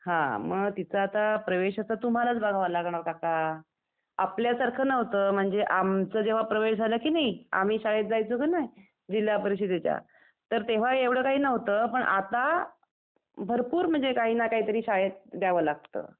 हं, मग तिचं आता प्रवेशाचं तुम्हालाच बघावं लागणार काका. आपल्या सारखं न्हवतं. म्हणजे आमचा जेव्हा प्रवेश झाला कि नई, आम्ही शाळेत जायचो कि नई जिल्हा परिषदेच्या तर तेव्हा एवढं काही न्हवतं पण आता भरपूर काही ना काही तरी शाळेत द्यावं लागतं .